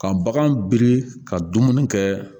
Ka bagan biri ka dumuni kɛ